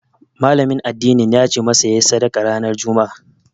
Malamin addinin yace masa yayi sadaka ranar Juma'a